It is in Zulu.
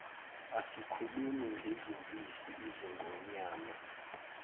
asikhulumi ngezimpisi izingonyama